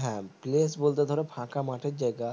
হ্যাঁ place বলতে ধরো ফাঁকা মাঠের জায়গা